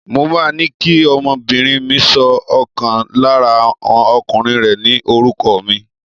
Mo máa ní kí ọmọbìnrin mi sọ ọ̀kan lára ọmọkùnrin rẹ̀ ní orúkọ mi.